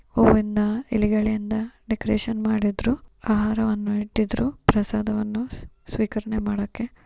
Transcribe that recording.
ಹೂವಿನಿಂದ ಎಲೆಗಳಿಂದ ಡೆಕೋರೇಶನ್‌ ಮಾಡಿದ್ರು ಆಹಾರವನ್ನು ಇಟ್ಟಿದ್ದರು ಪ್ರಸಾದವನ್ನು ಸ್ವೀಕರಣೆ ಮಾಡಕ್ಕೆ.